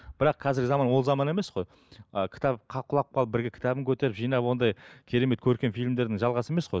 бірақ қазіргі заман ол заман емес қой ы кітап құлап қалып бірге кітабын көтеріп жинап ондай керемет көркем фильмдердің жалғасы емес қой